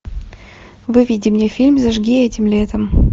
выведи мне фильм зажги этим летом